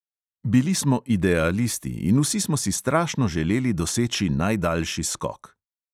Bili smo idealisti in vsi smo si strašno želeli doseči najdaljši skok.